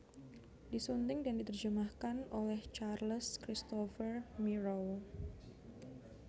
Disunting dan diterjemahkan olehCharles Christopher Mierow